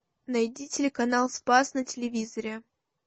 найди телеканал спас на телевизоре